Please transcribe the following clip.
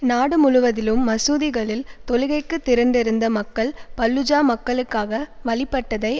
நாடு முழுவதிலும் மசூதிகளில் தொழுகைக்கு திரண்டிருந்த மக்கள் பல்லூஜா மக்களுக்காக வழிபட்டதை